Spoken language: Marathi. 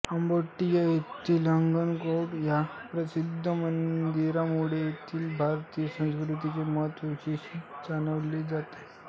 कांबोडिया येथील अंगकोरवाट या प्रसिद्ध मंदिरामुळे येथील भारतीय संस्कृतीचे महत्त्व विशेष जाणवते